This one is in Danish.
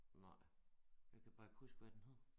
Nej jeg kan bare ikke huske hvad den hedder